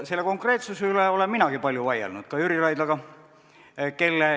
Selle konkreetsuse üle olen minagi palju vaielnud ka Jüri Raidlaga.